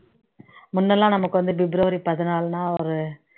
முன்னெல்லாம் நமக்கு வந்து பிப்ரவரி பதினாலுன்னா ஒரு